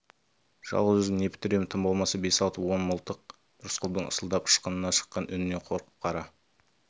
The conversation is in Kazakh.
жалғыз өзім не бітіремін тым болмаса бес-алты он мылтық рысқұлдың ысылдап ышқына шыққан үнінен қорқып қара